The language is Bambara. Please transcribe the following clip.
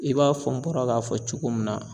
I b'a fɔ n bɔra k'a fɔ cogo min na.